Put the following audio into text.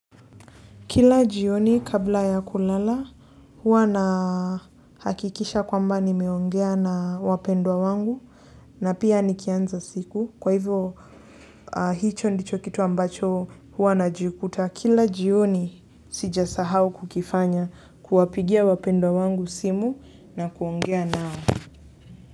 Kila jioni kabla ya kulala huwa na hakikisha kwamba nimeongea na wapendwa wangu na pia nikianza siku kwa hivo hicho ndicho kitu ambacho huwa najikuta kila jioni sijasahau kukifanya kuwapigia wapendwa wangu simu na kuongea nao.